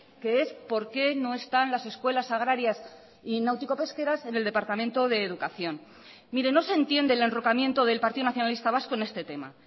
que es por qué no están las escuelas agrarias y náutico pesqueras en el departamento de educación mire no se entiende el enrocamiento del partido nacionalista vasco en este tema